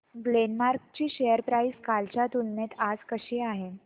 Glenmark ची share price कालच्या तुलनेत आज कशी आहे